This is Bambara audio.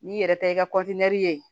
N'i yɛrɛ ta i ka ye